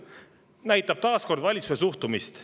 See näitab taas kord valitsuse suhtumist.